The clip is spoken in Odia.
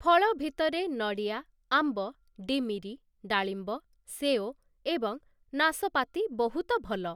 ଫଳ ଭିତରେ ନଡ଼ିଆ, ଆମ୍ବ, ଡିମିରି, ଡାଳିମ୍ବ, ସେଓ ଏବଂ ନାଶପାତି ବହୁତ ଭଲ ।